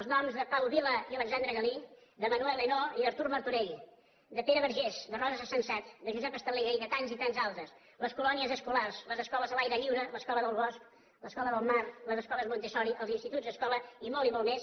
els noms de pau vila i alexandre galí de manuel ainaud i d’artur martorell de pere vergés de rosa sensat de josep estalella i de tants i tants altres les colònies escolars les escoles a l’aire lliure l’escola del bosc l’escola del mar les escoles montessori els instituts escola i molt i molt més